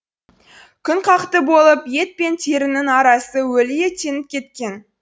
күнқақты болып ет пен терінің арасы өлі еттеніп кеткен